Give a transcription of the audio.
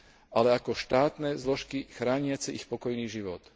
ale ako štátne zložky chrániace ich pokojný život.